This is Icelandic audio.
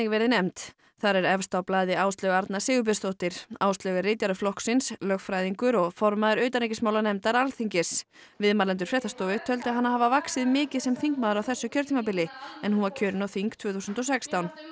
verið nefnd þar er efst á blaði Áslaug Arna Sigurbjörnsdóttir Áslaug er ritari flokksins lögfræðingur og formaður utanríkismálanefndar Alþingis viðmælendur fréttastofu töldu hana hafa vaxið mikið sem þingmaður á þessu kjörtímabili en hún var kjörin á þing tvö þúsund og sextán